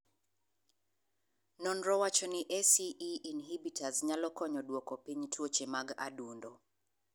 Nonro wacho ni ACE inhibitors nyalo konyo duoko piny tuoche mag adundo.